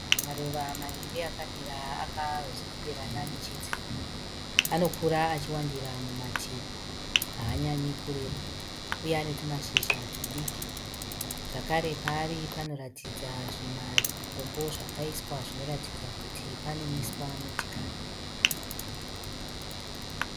Maruva maviri akamira akazemberana nechidziro. Anokura achiwandira mumativi, haanyanyi kureba uye ane tumashizha tudiki. Zvakare paari panoratidza zvimatombo zvakaiswa zvinoratidza kuti panomiswa motikari.